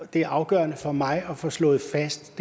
det er afgørende for mig at få slået fast